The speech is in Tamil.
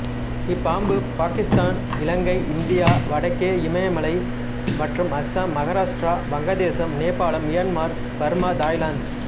இப்பாம்பு பாக்கித்தான் இலங்கை இந்தியா வடக்கே இமயமலை மற்றும் Assam Maharashtra Vangadesam Nepalam Myanmar Burma Thailand